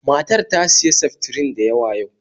Matar ta siya seftrin da yawa yau